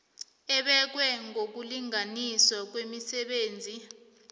ebekwe ngokulinganiswa kwemisebenzi